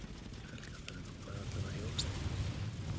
Helga: Þannig að þú færð allavega jólasteik?